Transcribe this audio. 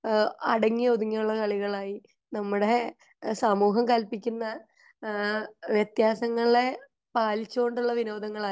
ഏഹ്ഹ് അടങ്ങി ഒതുങ്ങി ഉള്ള കളികൾ ആയി നമ്മുടെ സമൂഹം കല്പിക്കുന്ന ഏഹ്ഹ് വത്യാസങ്ങളെ പാലിച്ചുകൊണ്ടുള്ള വിനോദങ്ങളായി